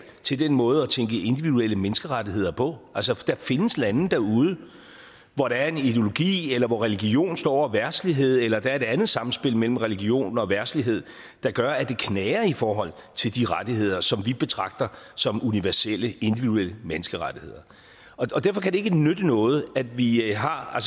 til den måde at tænke individuelle menneskerettigheder på altså der findes lande derude hvor der er en ideologi eller hvor religion står over verdslighed eller der er et andet samspil mellem religion og verdslighed der gør at det knager i forhold til de rettigheder som vi betragter som universelle individuelle menneskerettigheder derfor kan det ikke nytte noget at vi har har